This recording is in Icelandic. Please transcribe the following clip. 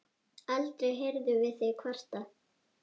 Aldrei heyrðum við þig kvarta.